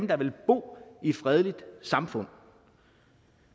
der vil bo i et fredeligt samfund